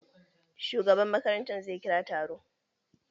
Shugaban makaranta zai kira taro.